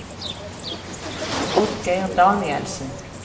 Oddgeir Danielsen